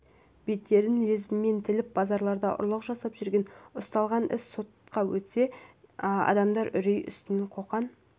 беттерін лезвімен тіліп базарларда ұрлық жасап жүрген ұсталған іс сотқа өтсе де адамдар үрей үстінде қоқан